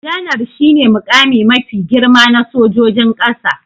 Janar shi ne muƙami mafi girma na sojojin ƙasa